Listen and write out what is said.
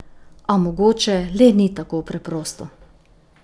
A mogoče le ni tako preprosto.